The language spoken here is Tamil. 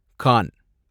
கான்